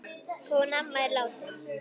Hún amma er dáin.